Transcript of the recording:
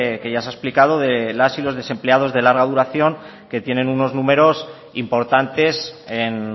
ya se ha explicado de las y los desempleados de larga duración que tienen unos números importantes en